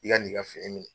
I ka n'i ka fini minɛ